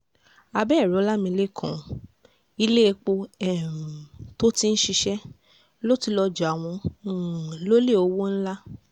abẹ́ẹ̀ rí ọlámilekan ilé-èpò um tó ti ń ṣiṣẹ́ ló ti lọ́ọ́ jà wọ́n um lólè owó ńlá